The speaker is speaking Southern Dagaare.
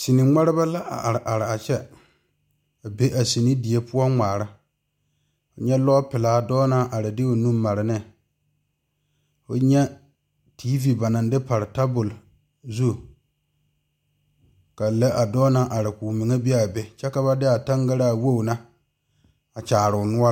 Seni ŋmareba la are are a kyɛ a be a seni die poɔ a ŋmaara nyɛ kɔɔ pelaa dɔɔ naŋ are de o nu a mare ne ka fo nyɛ tiivi ba naŋ de pare tabol zu ka lɛ a dɔɔ naŋ are ka o meŋ be a be kyɛ ka na de a taŋgaraa wogi na a kyaare o